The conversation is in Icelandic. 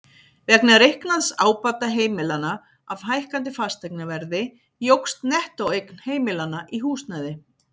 Vegna reiknaðs ábata heimilanna af hækkandi fasteignaverði jókst nettóeign heimilanna í húsnæði.